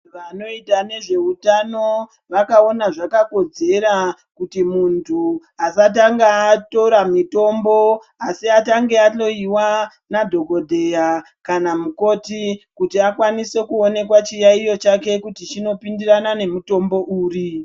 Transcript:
Vanoita nezve utano vakaona zvakakodzera kuti munthu asatanga atora mitombo asi atange ahloiwa nadhokodheya kana mukoti kuti akwanise kuonekwa chiyaiyo chake kuti chinopindirana nemutombo uri.